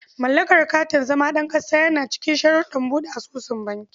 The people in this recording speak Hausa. Mallakar katin zama ɗan ƙasa yana cikin sharuɗan buɗe asusun banki.